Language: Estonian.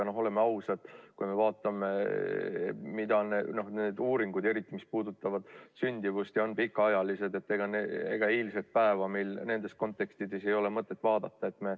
Oleme ausad, kui me vaatame neid uuringuid – eriti, mis puudutavad sündimust ja on pikaajalised –, et ega eilset päeva meil nende kontekstis ei ole mõtet vaadata.